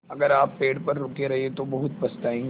अगर आप पेड़ पर रुके रहे तो बहुत पछताएँगे